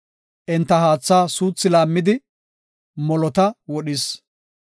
Enta haatha suuthi laammidi, molota wodhis.